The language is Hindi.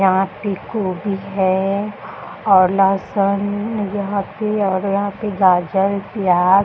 यहां पे कोभी है और लहसन यहां पे और यहां पे गाजर प्याज --